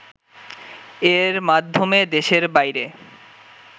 এর মাধ্যমে দেশের বাইরে